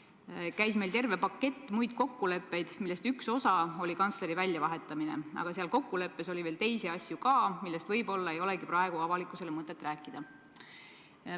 – käis terve pakett muid kokkuleppeid, millest üks oli kantsleri väljavahetamine, aga tolles kokkuleppes oli veel teisi asju ka, millest võib-olla ei ole avalikkusele mõtet rääkida.